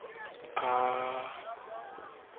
bo bottle ha a ka